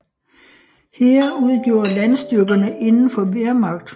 Heer udgjorde landstyrkerne indenfor Wehrmacht fra 1935 til den formelt blev opløst i 1946